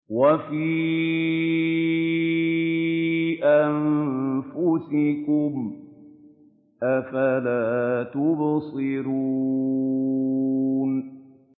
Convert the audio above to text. وَفِي أَنفُسِكُمْ ۚ أَفَلَا تُبْصِرُونَ